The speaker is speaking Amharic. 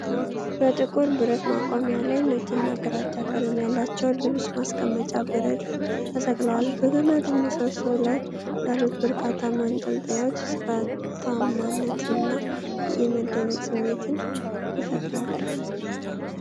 በጥቁር ብረት ማቆሚያ ላይ፣ ነጭና ግራጫ ቀለም ያላቸው ልብስ ማስቀመጫዎች በረድፍ ተሰቅለዋል። በገመድ ምሰሶው ላይ ያሉት በርካታ ማንጠልጠያዎች ሥርዓታማነትንና የመደነቅ ስሜትን ይፈጥራሉ።